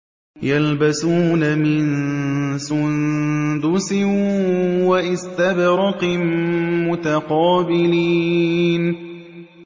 يَلْبَسُونَ مِن سُندُسٍ وَإِسْتَبْرَقٍ مُّتَقَابِلِينَ